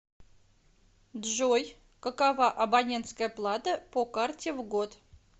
джой какова абонентская плата по карте в год